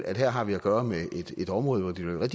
at her har vi at gøre med et område hvor det vil være